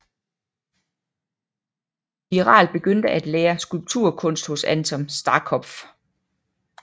Wiiralt begyndte at lære skulpturkunst hos Anton Starkopf